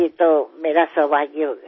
ये तो मेरा सौभाग्य होगा